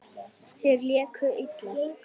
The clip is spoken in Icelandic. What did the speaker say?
Þeir léku illa.